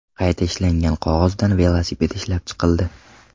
Qayta ishlangan qog‘ozdan velosiped ishlab chiqildi .